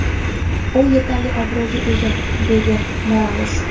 U yetarli obro‘ga ega”, deydi Morales.